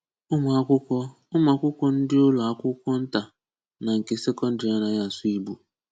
Ụ́mụ́akwụ́kwọ́ Ụ́mụ́akwụ́kwọ́ ndị ụlọ akwùkwó ntà na nke sekọ̀ndìrì ànàghị asụ̀ Ìgbò.